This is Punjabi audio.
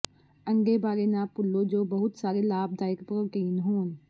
ਅੰਡੇ ਬਾਰੇ ਨਾ ਭੁੱਲੋ ਜੋ ਬਹੁਤ ਸਾਰੇ ਲਾਭਦਾਇਕ ਪ੍ਰੋਟੀਨ ਹੋਣ